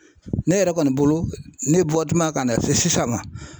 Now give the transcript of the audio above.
Ne yɛrɛ kɔni bolo, ne bɔ tuman kan na se sisan ma.